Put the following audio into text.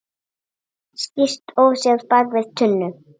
Skýst óséð bak við tunnu.